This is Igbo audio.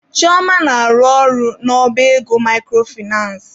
Chioma na-arụ ọrụ n'ọba ego microfinace.